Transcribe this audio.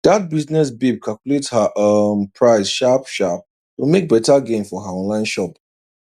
that business babe calculate her um price sharp sharp to make better gain for her online shop